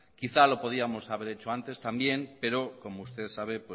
quizá lo podríamos haber hecho antes también pero como usted sabe